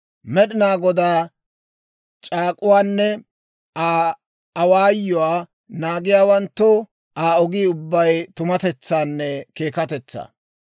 Med'inaa Godaa c'aak'uwaanne Aa awaayuwaa naagiyaawanttoo Aa ogii ubbay tumatetsaanne keekatetsaa.